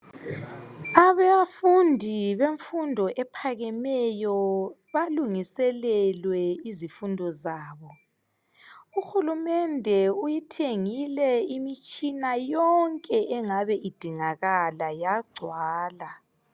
Abafundi bemfundo ephakemeyo balungiselelwe izifundo zabo. UHulumende uyithengile imitshina yonke engabe idingakala yagcwala.